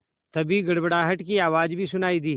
तभी गड़गड़ाहट की आवाज़ भी सुनाई दी